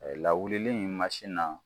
Lawuli in na